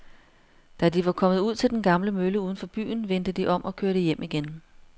Da de var kommet ud til den gamle mølle uden for byen, vendte de om og kørte hjem igen.